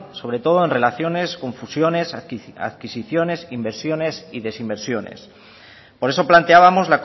sobre todo en relaciones con fusiones adquisiciones inversiones y desinversiones por eso planteábamos